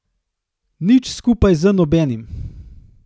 Nič skupaj z nobenim.